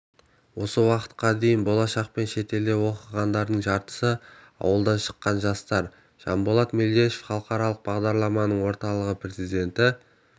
осы уақытқа дейін болашақпен шетелде оқығандардың жартысы ауылдан шыққан жастар жанболат мелдешов халықаралық бағдарламалар орталығы президенті